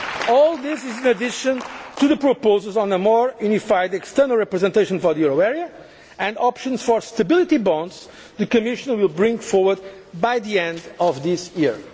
of all of us. All this is in addition to the proposals on a more unified external representation for the euro area and options for stability bonds' that the Commission will bring forward by the end